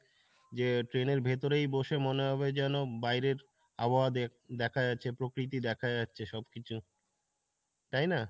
যে train এর ভেতরেই বসে মনে হবে যেনো বাইরের আবহাওয়া দেখা যাচ্ছে প্রকৃতি দেখা যাচ্ছে সব কিছু, তাই না?